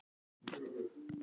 Ekkert minna en það!